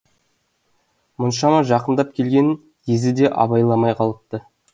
мұншама жақындап келгенін езі де абайламай қалыпты